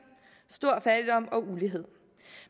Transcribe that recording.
stor fattigdom og ulighed